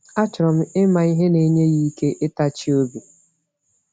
Achọrọ m ịma ihe na-enye ya ike ịtachi obi.